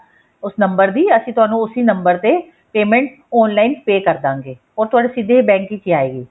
ਉਸ ਨੰਬਰ ਦੀ ਅਸੀਂ ਤੁਹਾਨੂੰ ਉਸੀ ਨੰਬਰ ਤੇ payment online pay ਕਰਦਾਂਗੇ ਉਹ ਤੁਹਾਡੇ ਸਿੱਧੇ ਬੈੰਕ ਵਿੱਚ ਆਏਗੀ